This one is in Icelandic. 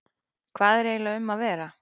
Hvað er eiginlega um að vera?